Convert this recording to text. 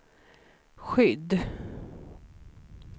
skydd